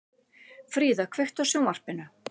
Fríða, kveiktu á sjónvarpinu.